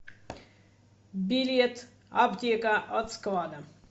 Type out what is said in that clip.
билет аптека от склада